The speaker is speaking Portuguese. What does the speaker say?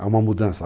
Há uma mudança.